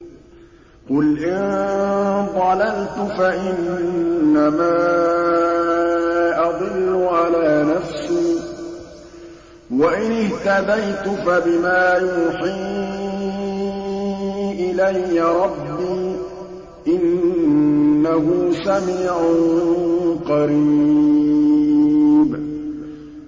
قُلْ إِن ضَلَلْتُ فَإِنَّمَا أَضِلُّ عَلَىٰ نَفْسِي ۖ وَإِنِ اهْتَدَيْتُ فَبِمَا يُوحِي إِلَيَّ رَبِّي ۚ إِنَّهُ سَمِيعٌ قَرِيبٌ